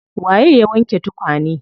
Waye ya wanke tukane?